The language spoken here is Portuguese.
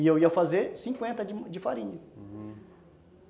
E eu ia fazer cinquenta de farinha, uhum